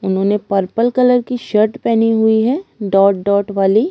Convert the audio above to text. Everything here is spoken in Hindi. उन्होंने पर्पल कलर की शर्ट पेहनी हुई है डॉट डॉट वाली--